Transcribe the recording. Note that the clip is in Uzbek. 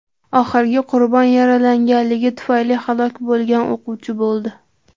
Oxirgi qurbon yaralanganligi tufayli halok bo‘lgan o‘quvchi bo‘ldi.